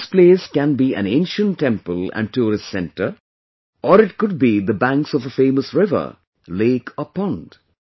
This place can be an ancient temple and tourist center, or it could be the banks of a famous river, lake or pond